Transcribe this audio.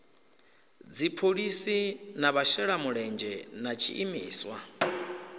dziphoḽisi na vhashelamulenzhe na tshiimiswa